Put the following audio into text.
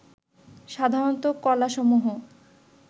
সাধারণত কলাসমূহ